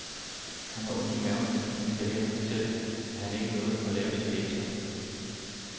Han har ondt i maven, fordi han skal hen og fortælle, at han ikke nåede at få lavet sine lektier.